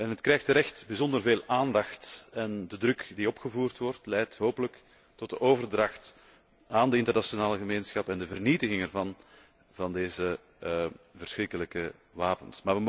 Het krijgt terecht bijzonder veel aandacht en de druk die opgevoerd wordt, leidt hopelijk tot de overdracht aan de internationale gemeenschap en de vernietiging van deze verschrikkelijke wapens.